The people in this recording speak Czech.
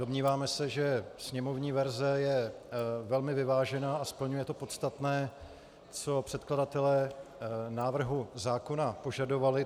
Domníváme se, že sněmovní verze je velmi vyvážená a splňuje to podstatné, co předkladatelé návrhu zákona požadovali.